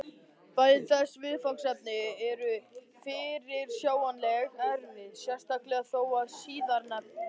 Bæði þessi viðfangsefni eru fyrirsjáanlega erfið, sérstaklega þó það síðarnefnda.